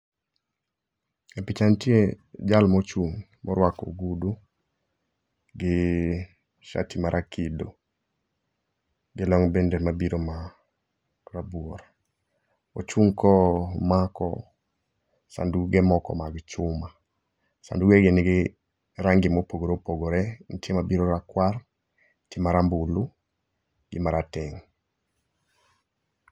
E picha ntie jalmochung' morwako ogudu, gi sati marakido, gi long' bende mabiro ma rabuor. Ochung' ka omako sanduge moko mag chuma. Sanduge gi nigi rangi mopogore opogore, nitie mabiro rakwar, nitie marambulu, gi marateng'.